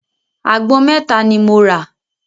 Àgbọn mẹ́ta ni mo rà.